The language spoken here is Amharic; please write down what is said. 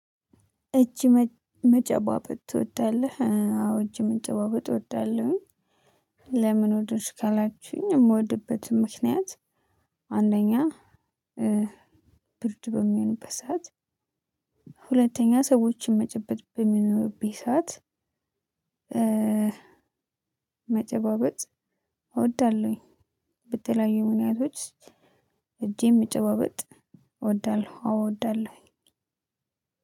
እጅ መጨባበጥ ትወዳለህ አዎ እጅ መጨባበጥ እወዳለሁኝ። ለምን ወደድሽ ካላችሁኝ የምወድበት ምክንያት። አንደኛ ብርድ በሚሆንበት ሰዓት። ሁለተኛ ሰዎችን መጨበጥ በሚኖርብኝ ሰዓት። መጨባበጥ እወዳለሁኝ። በተለያዩ ምክንያቶች። እጄን መጨባበጥ እወዳለሁ አዎ አወዳለሁኝ።